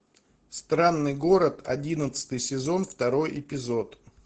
странный город одиннадцатый сезон второй эпизод